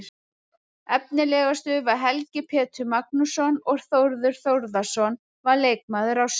Efnilegastur var Helgi Pétur Magnússon og Þórður Þórðarson var leikmaður ársins.